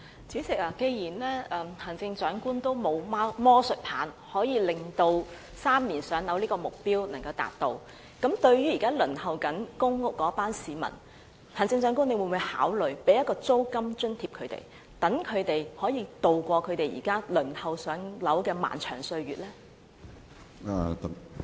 主席，既然行政長官也沒有魔術棒能達致3年"上樓"這個目標，對於現時正在輪候公屋的市民，行政長官會否考慮向他們提供租金津貼，讓他們可以渡過現時輪候"上樓"的漫長歲月呢？